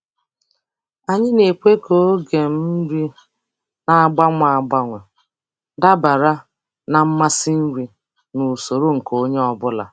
Anyị na-ekwe ka oge um nri na-agbanwe agbanwe dabara na mmasị nri na usoro nke onye ọ bụla.